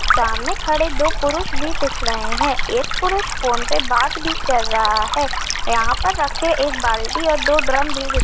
सामने खड़े दो पुरुष भी दिख रहे है एक पुरुष फोन पे बात भी कर रहा है यहाँ पर रखे एक बाल्टी और दो ड्रम भी दिख--